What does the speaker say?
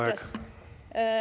Teie aeg!